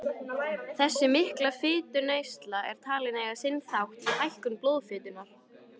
Þessi mikla fituneysla er talin eiga sinn þátt í hækkun blóðfitunnar.